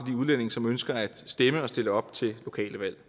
udlændinge som ønsker at stemme og stille op til lokale valg